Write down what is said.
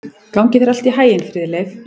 Gangi þér allt í haginn, Friðleif.